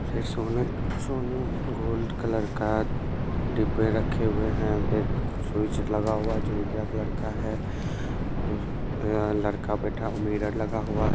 ये सोने सोन गोल्ड कलर का डिब्बे रखे हुए है एक स्विच लगा हुआ है जो उजड़ा कलर का है उस यहाँ लड़का बैठा मिरर लगा हुआ है।